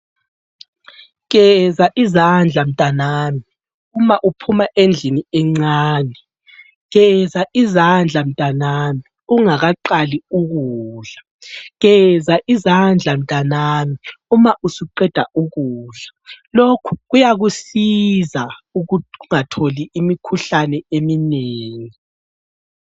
Geza izandla mtanami uma uphuma endlini encane, geza izandla mtanami ungakaqali ukudla, geza izandla mtanami Uma usuqeda ukudla , lokhu kuyakusiza ungatholi imikhuhlane eminengi